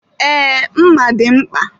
Ee, mma dị mkpa.